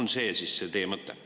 On see siis teie mõte?